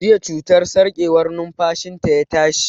Jiya cutar sarƙewar numfashi ta ya tashi